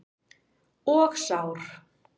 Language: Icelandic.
Og sár.